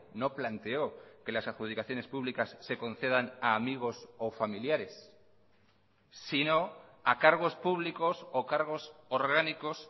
no planteó que las adjudicaciones públicas se concedan a amigos o familiares sino a cargos públicos o cargos orgánicos